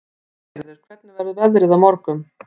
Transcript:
Styrgerður, hvernig verður veðrið á morgun?